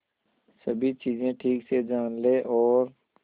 सभी चीजें ठीक से जान ले और